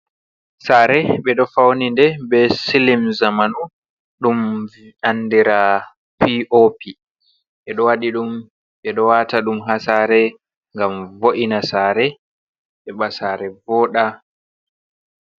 Sare ɓeɗo fauni nde be silin zamanu dum andira piopi. Ɓeɗo waɗi ɗum ɓeɗo wata ɗum ha sare ngam vo’ina sare, heɓa sare voda.